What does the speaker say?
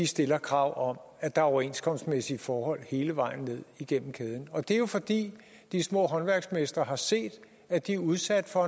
stiller krav om at der overenskomstmæssige forhold hele vejen ned igennem kæden og det er jo fordi de små håndværksmestre har set at de er udsat for